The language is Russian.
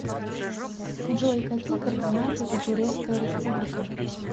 джой какие координаты у турецкая республика